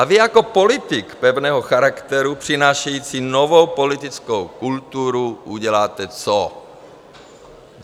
A vy jako politik pevného charakteru, přinášející novou politickou kulturu, uděláte co?